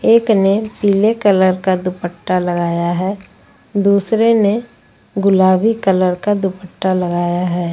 एक ने पीले कलर का दुपट्टा लगाया है दूसरे ने गुलाबी कलर का दुपट्टा लगाया है।